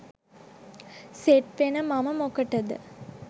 සෙට්වෙන මම මොකටද